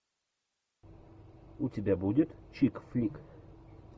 у тебя будет чик флик